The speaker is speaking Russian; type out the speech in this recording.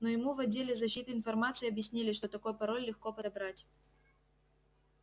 но ему в отделе защиты информации объяснили что такой пароль легко подобрать